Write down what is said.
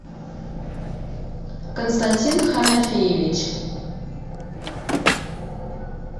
константин ханафеевич